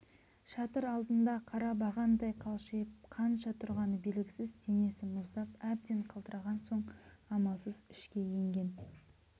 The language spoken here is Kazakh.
шатыр алдында қара бағандай қалшиып қанша тұрғаны белгісіз денесі мұздап әбден қалтыраған соң амалсыз ішке енген